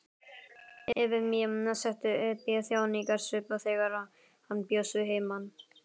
Efemía setti upp þjáningarsvip þegar hann bjóst að heiman.